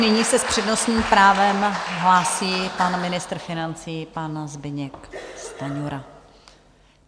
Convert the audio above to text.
Nyní se s přednostním právem hlásí pan ministr financí, pan Zbyněk Stanjura.